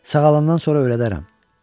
Sağalandan sonra öyrədərəm.